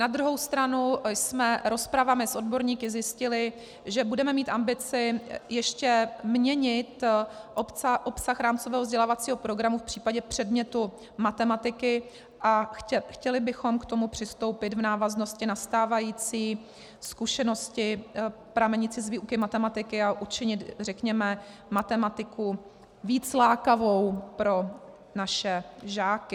Na druhou stranu jsme rozpravami s odborníky zjistili, že budeme mít ambici ještě měnit obsah rámcového vzdělávacího programu v případě předmětu matematiky, a chtěli bychom k tomu přistoupit v návaznosti na stávající zkušenosti pramenící z výuky matematiky a učinit, řekněme, matematiku víc lákavou pro naše žáky.